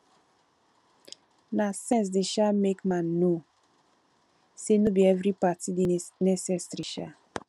na sense dey um make man know say no bi evri party dey necessary um